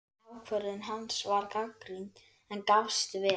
Ákvörðun hans var gagnrýnd, en gafst vel.